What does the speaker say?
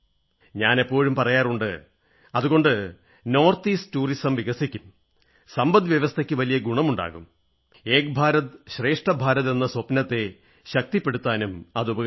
ഞാനെപ്പോഴും പറയാറുണ്ട് അതുകൊണ്ട് വടക്ക് കിഴക്കൻ ടൂറിസം വികസിക്കും സമ്പദ് വ്യവസ്ഥയ്ക്ക് വലിയ ഗുണമുണ്ടാകും ഏക് ഭാരത് ശ്രേഷ്ഠ ഭാരത് എന്ന സ്വപ്നത്തെ ശക്തിപ്പെടുത്താനും അതുപരിക്കും